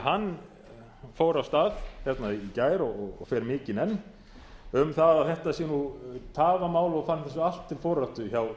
hann fór af stað hérna í gær og fer mikinn enn um að þetta sé tafamál og fann þessu allt til foráttu hjá